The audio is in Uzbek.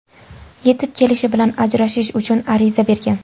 Yetib kelishi bilan ajrashish uchun ariza bergan.